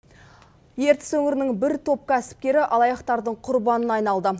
ертіс өңірінің бір топ кәсіпкері алаяқтардың құрбанына айналды